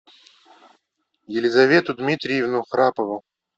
елизавету дмитриевну храпову